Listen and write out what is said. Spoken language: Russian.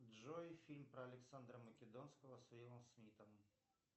джой фильм про александра македонского с уиллом смитом